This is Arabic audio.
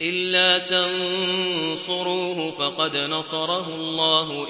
إِلَّا تَنصُرُوهُ فَقَدْ نَصَرَهُ اللَّهُ